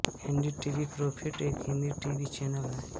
NDTV profit एक Hindi T V channel है